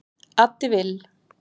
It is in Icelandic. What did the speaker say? Addi Vill